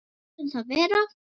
Látum það vera.